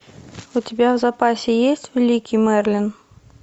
у тебя в запасе есть великий мерлин